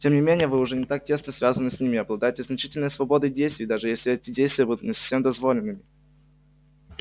тем не менее вы уже не так тесно связаны с ними и обладаете значительной свободой действий даже если эти действия будут не совсем дозволенными